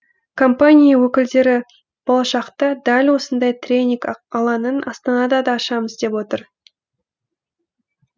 компания өкілдері болашақта дәл осындай тренинг алаңын астанадан да ашамыз деп отыр